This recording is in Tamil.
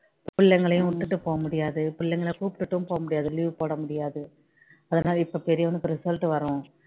பிள்ளைங்களயும் விட்டுட்டு போக முடியாது பிள்ளைங்கள கூட்டிட்டும் போக முடியாது leave முடியாது இப்போ பெரியவனுக்கு result வரும்